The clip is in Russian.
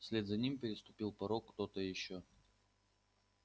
вслед за ним переступил порог кто-то ещё